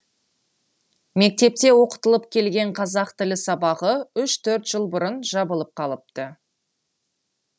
мектепте оқытылып келген қазақ тілі сабағы үш төрт жыл бұрын жабылып қалыпты